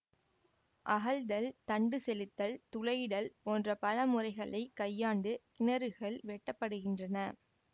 அகழ்தல் தண்டு செலுத்தல் துளையிடல் போன்ற பல முறைகளை கையாண்டு கிணறுகள் வெட்டப்படுகின்றன